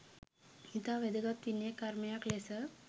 ඉතා වැදගත් විනය කර්මයක් ලෙස